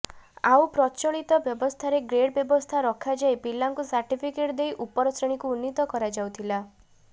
ଆଉ ପ୍ରଚଳିତ ବ୍ୟବସ୍ଥାରେ ଗ୍ରେଡ୍ ବ୍ୟବସ୍ଥା ରଖାଯାଇ ପିଲାଙ୍କୁ ସାର୍ଟିଫିକେଟ ଦେଇ ଉପର ଶ୍ରେଣୀକୁ ଉନ୍ନୀତ କରାଯାଉଥିଲା